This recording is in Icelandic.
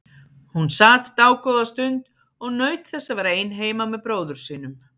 Hún sat dágóða stund og naut þess að vera ein heima með bróður sínum.